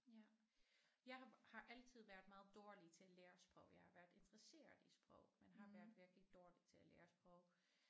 Ja jeg har har altid været meget dårlig til at lære sprog jeg har været interesseret i sprog men har været virkelig dårlig til at lære sprog